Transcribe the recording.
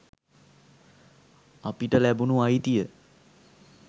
අපිට ලැබුණු අයිතිය